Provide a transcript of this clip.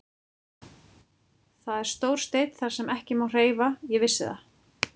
Það er stór steinn þar sem ekki má hreyfa, ég vissi það.